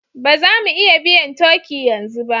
Ba za mu iya biyan turkey yanzu ba